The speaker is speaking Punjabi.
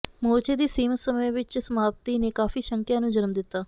ਮੋਰਚੇ ਦੀ ਸੀਮਤ ਸਮੇਂ ਵਿੱਚ ਸਮਾਪਤੀ ਨੇ ਕਾਫੀ ਸ਼ੰਕਿਆਂ ਨੂੰ ਜਨਮ ਦਿਤਾ